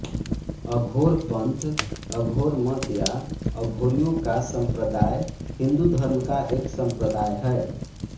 अघोर पंथ अघोर मत या अघोरियों का संप्रदाय हिंदू धर्म का एक संप्रदाय है